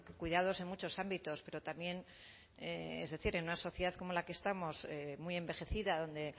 cuidados en muchos ámbitos pero también es decir en una sociedad como la que estamos muy envejecida donde